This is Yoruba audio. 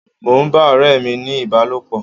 Mò ń bá ọ̀rẹ́ mi ní ìbálòpọ̀.